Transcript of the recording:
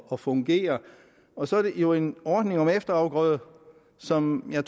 at fungere og så er det jo en ordning om efterafgrøde som jeg